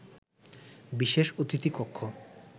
বিশেষ অতিথি কক্ষ